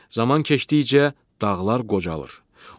Zaman keçdikcə dağlar qocalır.